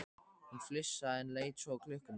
Hún flissaði, en leit svo á klukkuna.